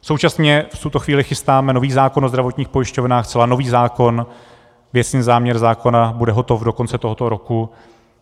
Současně v tuto chvíli chystáme nový zákon o zdravotních pojišťovnách, zcela nový zákon, věcný záměr zákona bude hotov do konce tohoto roku.